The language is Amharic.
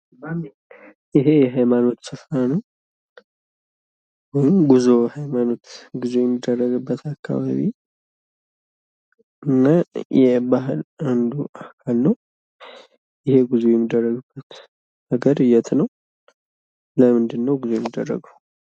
ይሄ የሀይማኖት ስፍራ ነው። ወይም የሃይማኖት ጉዙ የሚደረግበት አካባቢ እና የባህል አንዱ አካል ነው። ይህ ጉዞ የሚደረግበት ሀገር የት ነው? ለምንድን ነው ጉዞ የሚደረገው?